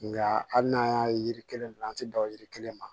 Nka hali n'an y'a ye yiri kelen don an ti dan yiri kelen ma